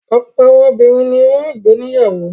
Ọ̀pọ̀ àwọn obìnrin ni wọn yóò gbé níyàwó.